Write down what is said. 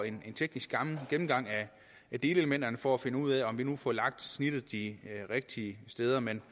en teknisk gennemgang af delelementerne for at finde ud af om vi nu får lagt snittet de rigtige steder men